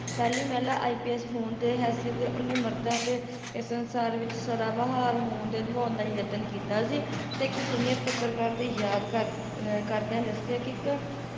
ਪਹਿਲੀ ਮਹਿਲਾ IPS ਹੋਣ ਦੇ ਹੈਸੀਅਤ ਦੇ ਉਹਨੇ ਮਰਦਾਂ ਦੇ ਇਸ ਸੰਸਾਰ ਵਿੱਚ ਸਦਾਬਹਾਰ ਹੋਣ ਤੇ ਨਿਭਾਉਣ ਦਾ ਯਤਨ ਕੀਤਾ ਸੀ ਤੇ ਇੱਕ senior ਪੱਤਰਕਾਰ ਦੀ ਯਾਦਕਾਰ ਯਾਦ ਕਰਦਿਆਂ ਦਸਿਆ ਕੇ ਇੱਕ